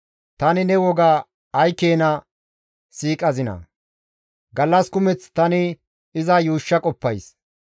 Tani ne woga ay keena siiqazinaa! Gallas kumeth tani iza yuushsha qoppays.